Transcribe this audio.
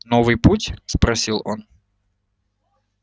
новый путь спросил он